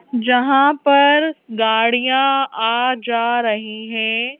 जहां पर गाड़ियां आ जा रही हैं।